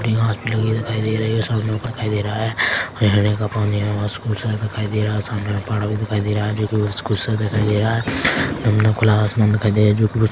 छोटी-छोटी घास भी लगी दिखाई दे रही है दिखाई दे रहा है झरने का पानी है खूबसूरत दिखाई दे रहा है सामने पहाड़ दिखाई दे रहा है जो की खूबसूरत दिखाई दे रहा है खुला आसमान दिखाई दे रहा है जो की--